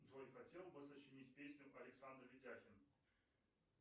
джой хотел бы сочинить песню александр витяхин